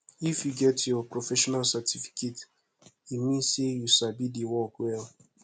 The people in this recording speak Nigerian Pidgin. if you get your professional certificate e mean sey you sabi di work well